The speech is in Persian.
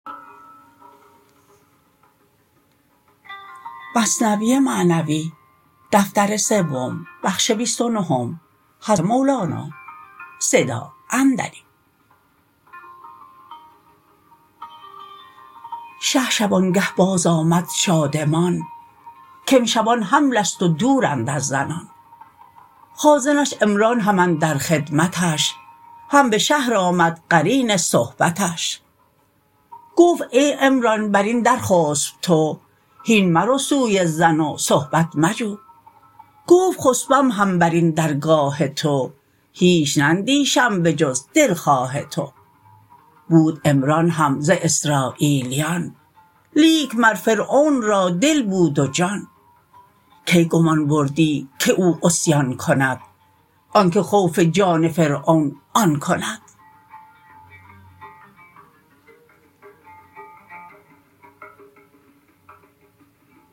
شه شبانگه باز آمد شادمان کامشبان حملست و دورند از زنان خازنش عمران هم اندر خدمتش هم به شهر آمد قرین صحبتش گفت ای عمران برین در خسپ تو هین مرو سوی زن و صحبت مجو گفت خسپم هم برین درگاه تو هیچ نندیشم به جز دلخواه تو بود عمران هم ز اسراییلیان لیک مر فرعون را دل بود و جان کی گمان بردی که او عصیان کند آنک خوف جان فرعون آن کند